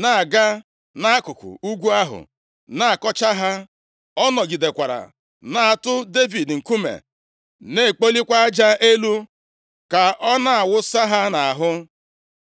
na-aga nʼakụkụ ugwu ahụ na-akọcha ha. Ọ nọgidekwara na-atụ Devid nkume, na-ekpolikwa aja elu ka ọ na-awụsa ha nʼahụ.